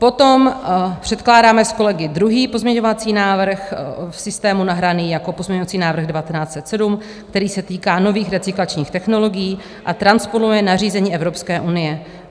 Potom předkládáme s kolegy druhý pozměňovací návrh, v systému nahraný jako pozměňovací návrh 1907, který se týká nových recyklačních technologií a transponuje nařízení Evropské unie.